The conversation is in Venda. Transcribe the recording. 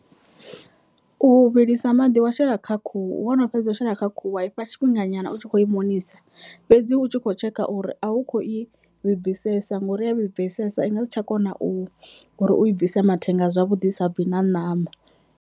U vhilisa maḓi wa shela kha khuhu wono fhedza u shela kha khuhu wa ifha tshifhinga nyana u tshi kho i mukonisa fhedzi u tshi kho tshekha uri a u kho i vhibvisesa ngori a vhibvisesa i nga si tsha kona u i bvisa mathenga a zwavhuḓi sa bvi na ṋama.